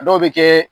A dɔw bɛ kɛ